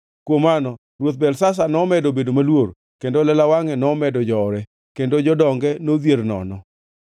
Kuom mano Ruoth Belshazar nomedo bedo maluor, kendo lela wangʼe nomedo jowore, kendo jodonge nodhier nono.